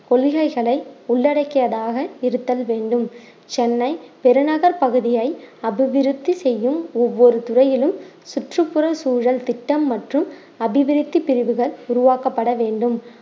கொள்கைகளை உள்ளடக்கியதாக இருத்தல் வேண்டும் சென்னை பெருநகர் பகுதியை அபிவிருத்தி செய்யும் ஒவ்வொரு துறையிலும் சுற்றுப்புற சூழல் திட்டம் மற்றும் அபிவிருத்தி பிரிவுகள் உருவாக்கப்பட வேண்டும்